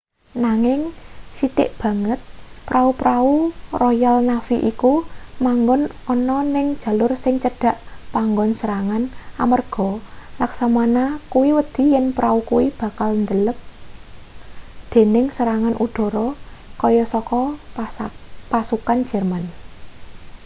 nanging sithik banget pra-prau royal navy iku manggon ana ning jalur sing cedhak panggon serangan amarga laksamana kuwi wedi yen prau kuwi bakal ndelep dening serangan udara kaya saka pasukan jerman